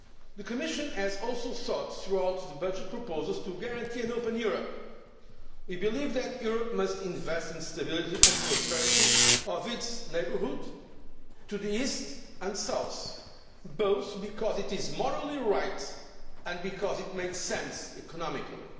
The Commission has also sought, throughout the budget proposals, to guarantee an open Europe. We believe that Europe must invest in the stability and prosperity of its neighbourhood to the East and South, both because it is morally right and because it makes sense economically.